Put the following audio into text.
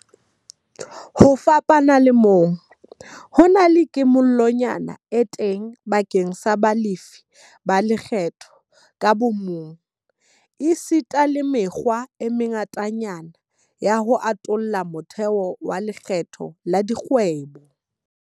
Ho fapana le moo, ho na le kimollonyana e teng bakeng sa balefi ba lekgetho ka bomong, esita le mekgwa e mengatanyana ya ho atolla motheo wa lekgetho la dikgwebo.